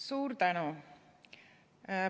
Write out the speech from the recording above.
Suur tänu!